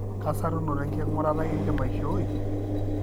kaa sarunoto enkingurata indim aishoi?